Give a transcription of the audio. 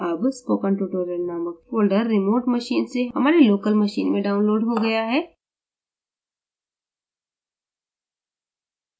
अब spokentutorial नामक folder remote machine से हमारे local machine में downloaded हो गया है